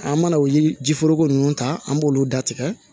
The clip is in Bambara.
An mana o yiri foroko ninnu ta an b'olu da tigɛ